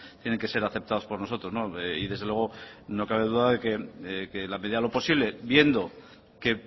tienen que ser aceptado por nosotros desde luego no cabe duda de que en la medida de lo posible viendo que